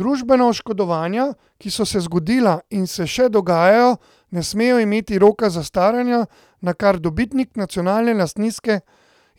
Družbena oškodovanja, ki so se zgodila in se še dogajajo, ne smejo imeti roka zastaranja, na kar dobitniki nacionalne lastninske